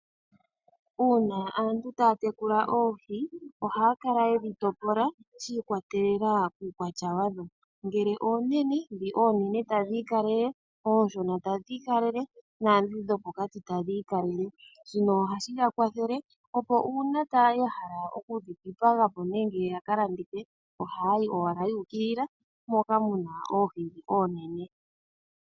Una aantu taya tekula oohi ohaya kala yedhi topola shi ikwatelela kukwatya wadho. Ngele oonene dhi oonene tadhi ikalele. Oshona tadhi ikalele, dhopokati tadhi ikalele. Shino ohashi ya kwathele opo una haya hala okudhi dhipaga po nenge ya hala yaka landithe ohayi owala yu ukilila moka muna oohi oonene.